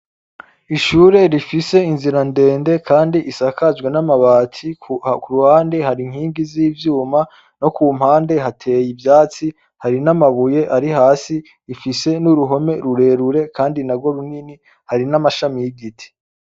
Ishure rifise inzira ndende kandi isakajwe n'amabati, ku ruhande hari inkingi z'ivyuma no ku mpande hateye ivyatsi, hari n'amabuye ari hasi, ifise n'uruhome rurerure kandi narwo runini, hari n'amashami y'igiti.